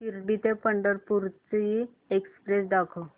शिर्डी ते पंढरपूर ची एक्स्प्रेस दाखव